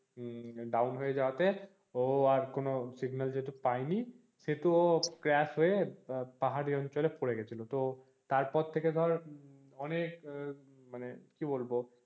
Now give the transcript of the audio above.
হম down হয়ে যাওয়াতে ও আর কোনো signal যেহেতু পাইনি সেহেতু ও crash হয়ে পাহাড়ি অঞ্চলে পরে গেছিলো তো তারপর থেকে ধর অনেক এর মানে কি বলব